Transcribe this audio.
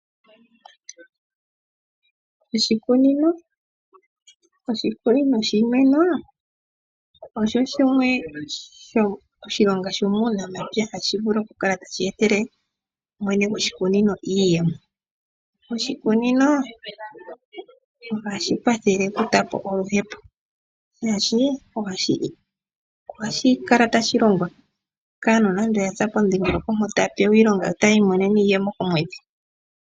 Oshikunino shiimeno osho shimwe oshilonga shuunamapya tashi vulu oku kala tashe etele mwene gwasho iiyemo. Oshikunino ohashi kwathele okukutha po oluhepo, oshoka ohashi kala tashi longwa kaantu yopomudhingoloko mpoka, taya mono iiyemo komwedhi.